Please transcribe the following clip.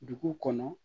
Dugu kɔnɔ